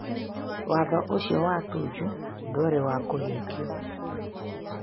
Watho ũcio wa Tuju ndwarĩ wa kũhingĩio.